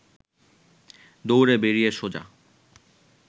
দৌড়ে বেরিয়ে সোজা